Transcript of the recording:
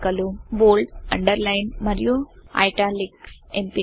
bold underline మరియు italics ఎంపికలు